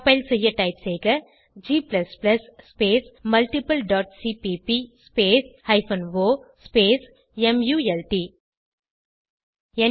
compile செய்ய type செய்க g space multiple dot cpp space hyphen o space மல்ட்